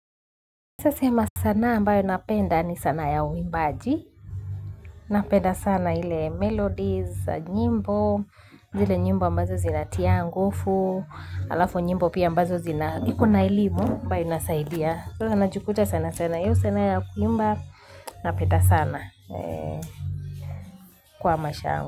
Nitasema sanaa ambayo napenda ni sanaa ya uimbaji. Napenda sana ile melodies, nyimbo, zile nyimbo ambazo zina tia nguvu, alafu nyimbo pia ambazo zina iko na elimu ambayo inasaidia. Najikuta sana sana hiyo sanaa ya kuimba, napenda sana kwa maisha yangu.